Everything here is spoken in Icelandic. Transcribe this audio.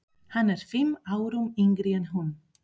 Hann er fimm árum yngri en hún.